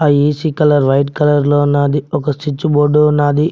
AC colour white colour లో ఉన్నది ఒక స్విచ్ బోర్డు ఉన్నది.